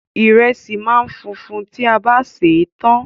Ìrẹsì máa ń funfun tí a bá sè é tán